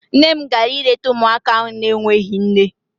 Nne m gara ileta ụmụaka ahụ n'enweghị nne.